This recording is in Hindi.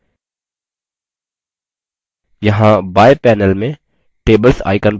यहाँ बाएं panel में tables icon पर click करें